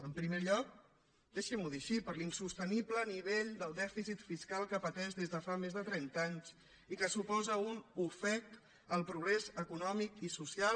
en primer lloc deixin m’ho dir així per l’insostenible nivell del dèficit fiscal que pateix des de fa més de trenta anys i que suposa un ofec al progrés econòmic i social